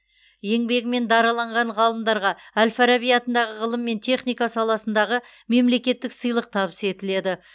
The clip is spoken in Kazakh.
еңбегімен дараланған ғалымдарға әл фараби атындағы ғылым мен техника саласындағы мемлекеттік сыйлық табыс етіледі